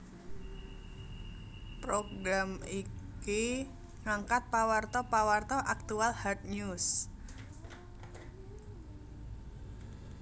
Program iki ngangkat pawarta pawarta aktual hard news